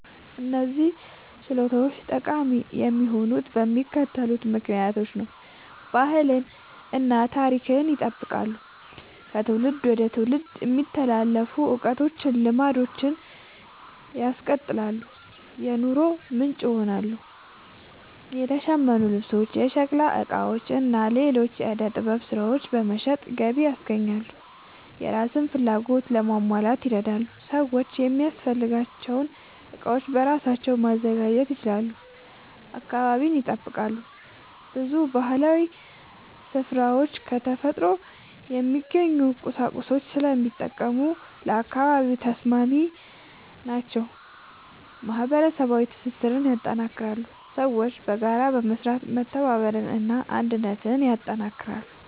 እነዚህ ችሎታዎች ጠቃሚ የሆኑት በሚከተሉት ምክንያቶች ነው፦ ባህልን እና ታሪክን ይጠብቃሉ – ከትውልድ ወደ ትውልድ የሚተላለፉ እውቀቶችን እና ልማዶችን ያስቀጥላሉ። የኑሮ ምንጭ ይሆናሉ – የተሸመኑ ልብሶች፣ የሸክላ ዕቃዎች እና ሌሎች የዕደ ጥበብ ሥራዎች በመሸጥ ገቢ ያስገኛሉ። የራስን ፍላጎት ለማሟላት ይረዳሉ – ሰዎች የሚያስፈልጋቸውን ዕቃዎች በራሳቸው ማዘጋጀት ይችላሉ። አካባቢን ይጠብቃሉ – ብዙ ባህላዊ ሥራዎች ከተፈጥሮ የሚገኙ ቁሳቁሶችን ስለሚጠቀሙ ለአካባቢ ተስማሚ ናቸው። ማህበረሰባዊ ትስስርን ያጠናክራሉ – ሰዎች በጋራ በመስራት መተባበርን እና አንድነትን ያጠናክራሉ።